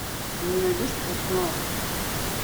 ты мне найдешь постнуар